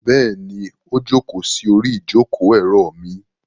Bẹ́ẹ̀ni, ó jókòó sí orí ìjókòó-èrò mi.